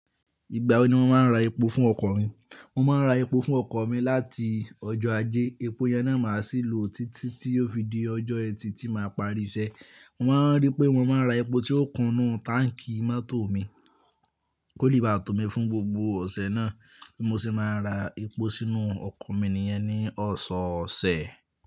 Ìgbà wo ni wọ́n máa ń ra epo fún ọkọ̀ mí? Mo máa ń ra epo fún ọkọ̀ mi láti ọjọ́ Ajé, epo yẹn náà màá sì lò títí tí yóò fi di ọjọ́ ẹtì tí màá parí iṣẹ́. Mo máa ń rí pé wọ́n máa ń ra epo tí ó kúnú táǹkì mọ́tò mi, kó lè bá to mi fún gbogbo ọ̀sẹ̀ náà, bí mo ṣe máa ra epo sínú ọkọ̀ mi nìyẹn ní ọ̀sọ̀ọ̀sẹ̀.